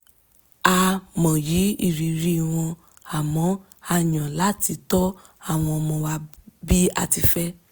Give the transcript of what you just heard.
a mọyì ìrírí wọn àmọ́ a yàn láti tọ́ àwọn ọmọ wa bí a ti fẹ́